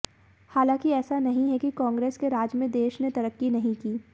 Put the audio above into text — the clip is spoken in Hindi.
हालांकि ऐसा नहीं है कि कांग्रेस के राज में देश ने तरक्की नहीं की